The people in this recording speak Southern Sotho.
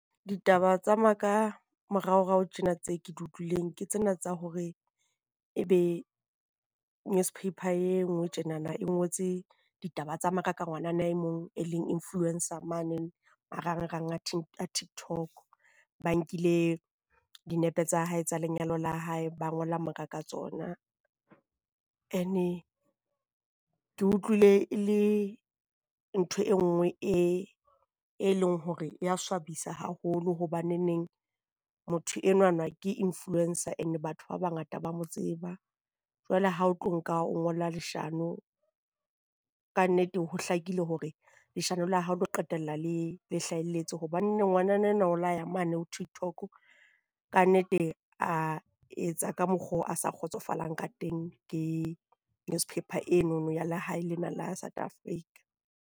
Ditaba tsa maka moraorao tjena tseo ke di utlwileng ke tsena tsa hore ebe newspaper e nngwe tjenana e ngotse ditaba tsa maka ka ngwanana e mong e leng influenc-a mane marangrang a a Tiktok. Ba nkile dinepe tsa hae tsa lenyalo la hae, ba ngola maka ka tsona. Ene ke utlwile e le ntho e nngwe e e leng hore e ya swabisa haholo hobane neng motho enwana ke Influence-a and batho ba bangata ba mo tseba. Jwale ha o tlo nka o ngola leshano kannete ho hlakile hore leshano la hao le tlo qetella le hlahelletse hobane ngwanana o la ya mane ho Tiktok kannete a etsa ka mokgo a sa kgotsofalang ka teng ke newspaper eno ya lehae lena la Africa.